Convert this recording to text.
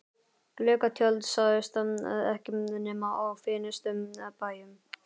Gluggatjöld sáust ekki nema á fínustu bæjum.